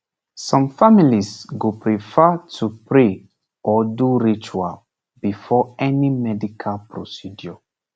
some families go prefer to pray or do ritual before any medical procedure